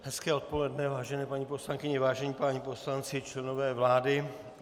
Hezké odpoledne, vážené paní poslankyně, vážení páni poslanci, členové vlády.